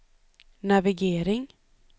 navigering